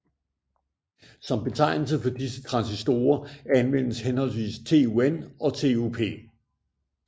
Som betegnelse for disse transistorer anvendtes henholdsvis TUN og TUP